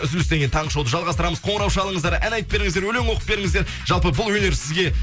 үзілістен кейін таңғы шоуды жалғастырамыз қоңырау шалыңыздар ән айтып беріңіздер өлең оқып беріңіздер жалпы бұл өнер сізге